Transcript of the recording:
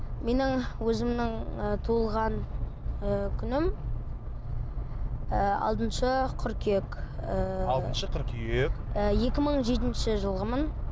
менің өзімнің ы туылған ы күнім ы алтыншы қыркүйек ыыы алтыншы қыркүйек ы екі мың жетінші жылғымын